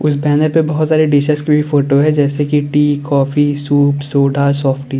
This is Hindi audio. इस बैनर पे बहुत सारे डिशेस के भी फोटो है जैसे कि tea coffee soup soda softy --